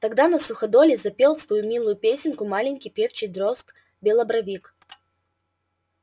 тогда на суходоле запел свою милую песенку маленький певчий дрозд-белобровик